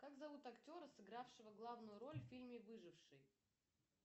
как зовут актера сыгравшего главную роль в фильме выживший